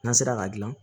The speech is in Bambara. N'an sera k'a dilan